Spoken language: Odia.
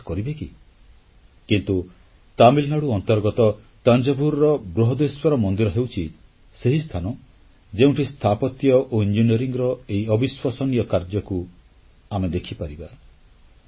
ଆପଣ ବିଶ୍ୱାସ କରିବେ କି କିନ୍ତୁ ତାମିଲନାଡୁ ଅନ୍ତର୍ଗତ ତାଞ୍ଜାଭୁର୍ ବୃହଦେଶ୍ୱର ମନ୍ଦିର ହେଉଛି ସେହି ସ୍ଥାନ ଯେଉଁଠି ସ୍ଥାପତ୍ୟ ଓ ଇଞ୍ଜିନିୟରିଂର ଏହି ଅବିଶ୍ୱସନୀୟ କାର୍ଯ୍ୟକୁ ଆମେ ଦେଖିପାରିବା